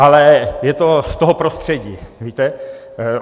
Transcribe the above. Ale je to z toho prostředí, víte.